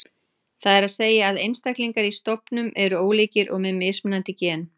Það er að segja að einstaklingar í stofnum eru ólíkir og með mismunandi gen.